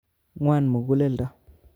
Ngwan muguleldo